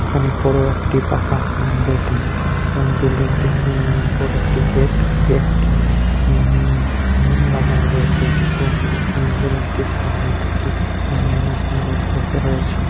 এখানে বড় একটি পাকা উ বিল্ডিং এবং বিল্ডিং টি উ উ বড় একটি গেট গেট টি উ-ম-ম লাগানো রয়েছে এবং বিল্ডিং টির সামনে দুটি উ-ম-ম লোক বসে রয়েছে।